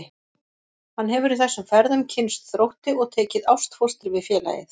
Hann hefur í þessum ferðum kynnst Þrótti og tekið ástfóstri við félagið.